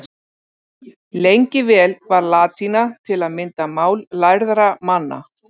Lengi vel var latína til að mynda mál lærðra manna.